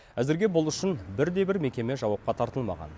әзірге бұл үшін бірде бір мекеме жауапқа тартылмаған